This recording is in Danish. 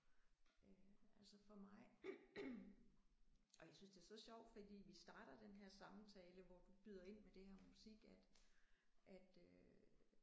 Øh altså for mig ej jeg synes det er så sjovt fordi vi starter den her samtale hvor du byder ind med det her med musik at at øh